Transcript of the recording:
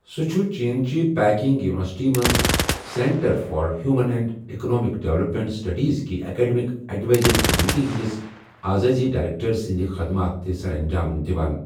سہُ چھُ چین چہِ پیکنگ یونیورسٹی منز centre for human and economic development studies کہِ ایکڈمِک ایڈوائزری کمیٹی ہند ِس اعزازی ڈائریکٹر سٕنزٕ خدمات تہِ سرانجام دِوان ۔